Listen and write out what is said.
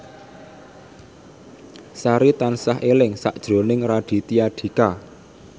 Sari tansah eling sakjroning Raditya Dika